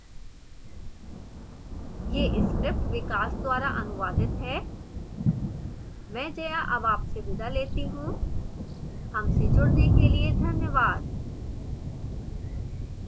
यह script विकास द्वारा अनुुवादित है मैं जया अब आपसे विदा लेती हूँ